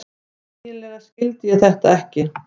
Eiginlega skildi ég þetta ekki.